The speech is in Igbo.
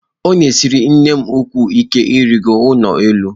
Ọ na-esiri nnem ukwuu ike irigo n'ụlọ elu.